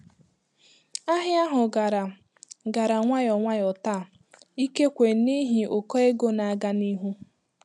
Ahịa ahụ gara gara nwayọ nwayọ taa, ikekwe n'ihi ụkọ ego na-aga n'ihu.